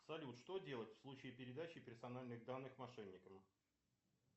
салют что делать в случае передачи персональных данных мошенникам